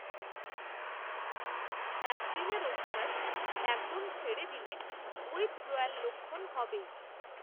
অ্যাদ্দিনের অভ্যাস, একদম ছেড়ে দিলে, উইথড্রয়াল লক্ষণ হবেই